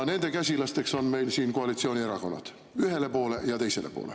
Nende käsilasteks on meil siin koalitsioonierakonnad, ühele poole ja teisele poole.